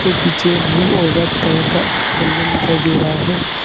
के पीछे ब्लू और व्हाइट कलर का पेंडेन दिखाई दे रहा है।